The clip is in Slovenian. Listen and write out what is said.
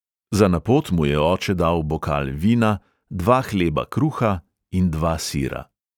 Za na pot mu je oče dal bokal vina, dva hleba kruha in dva sira.